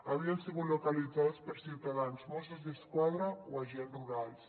havien sigut localitzades per ciutadans mossos d’esquadra o agents rurals